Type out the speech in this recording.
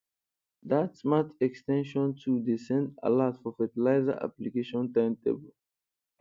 dat smart ex ten sion tool dey send alert for fertilizer application timetable